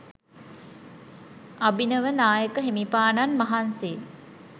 අභිනව නායක හිමිපාණන් වහන්සේ